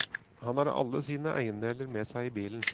Han har alle sine eiendeler med seg i bilen.